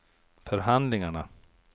förhandlingarna